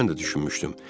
Mən də düşünmüşdüm.